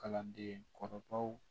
Kalanden kɔrɔbaw